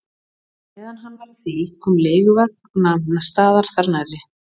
Meðan hann var að því kom leiguvagn og nam staðar þar nærri.